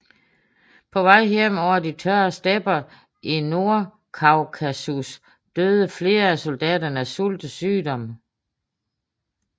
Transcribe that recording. På vej hjem over de tørre stepper i Nordkaukasus døde flere af soldaterne af sult og sygdom